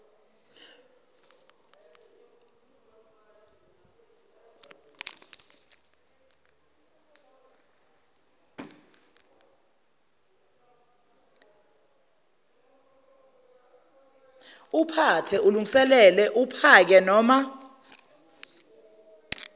uphathe ulungiselele uphakenoma